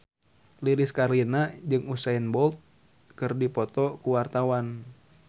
Lilis Karlina jeung Usain Bolt keur dipoto ku wartawan